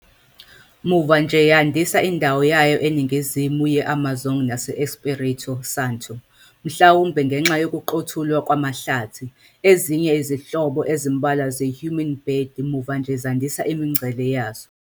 Muva nje yandisa indawo yayo eNingizimu ye-Amazon nase-Espírito Santo, mhlawumbe ngenxa yokuqothulwa kwamahlathi, ezinye izinhlobo ezimbalwa ze-hummingbird muva nje zandisa imigcele yazo.